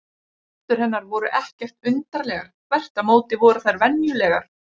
Hendur hennar voru ekkert undarlegar, þvert á móti voru þær venjulegar.